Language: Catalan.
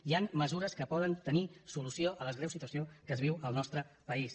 hi han mesures que poden tenir solució a la greu situació que es viu al nostre país